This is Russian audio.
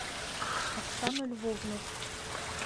оксану львовну